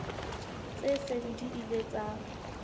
tse seng di ile tsa